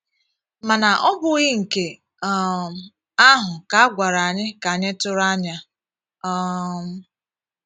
Mana ọ bụghị nke um ahụ ka a gwara anyị ka anyị tụrụ anya? um